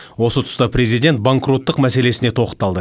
осы тұста президент банкроттық мәселесіне тоқталды